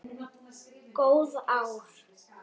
Góð ár.